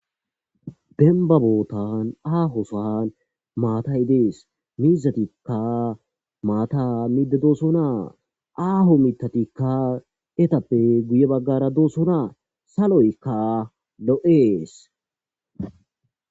Demba besan Aho sohan matay Des. Miizatika mata midi de'osona aho mithatika etappe guye bagara de'osona saloyka lo'es.